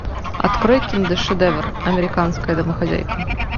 открой киношедевр американская домохозяйка